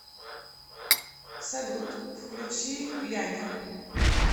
салют включи ляня